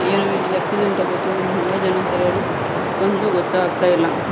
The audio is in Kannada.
ಏನೋ ಇಲ್ಲಿ ಆಕ್ಸಿಡೆಂಟ್ ಅಗೈತೋ ಇಲ್ಲ ಹಂಗ ಜನ ಸೇರ್ಯಾರೋ ಒಂದು ಗೋತ್ತಾಗ್ತ ಇಲ್ಲ.